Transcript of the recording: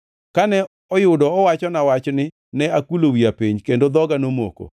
Kane oyudo owachona wachni ne akulo wiya piny, kendo dhoga nomoko.